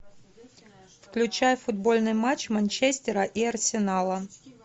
включай футбольный матч манчестера и арсенала